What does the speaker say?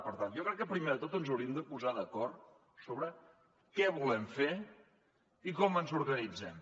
per tant jo crec que primer de tot ens hauríem de posar d’acord sobre què volem fer i com ens organitzem